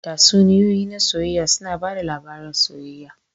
Tatsuniyoyi na soyayya suna ba da labarin soyayya.